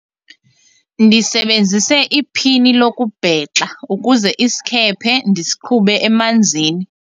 ndisebenzise iphini lokubhexa ukuze isikhephe ndisiqhube emanzini